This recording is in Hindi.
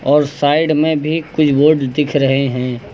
और साइड में भी कुछ बोर्डस दिख रहे हैं।